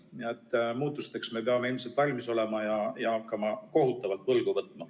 Nii et muutusteks me peame ilmselt valmis olema ja hakkama kohutavalt võlgu võtma.